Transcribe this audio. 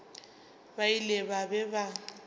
ba ile ba be ba